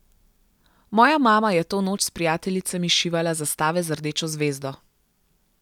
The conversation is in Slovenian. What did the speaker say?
Moja mama je to noč s prijateljicami šivala zastave z rdečo zvezdo.